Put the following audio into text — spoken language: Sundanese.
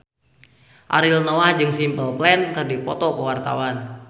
Ariel Noah jeung Simple Plan keur dipoto ku wartawan